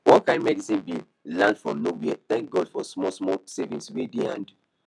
one kain medical bill land from nowherethank god for small small savings way dey hand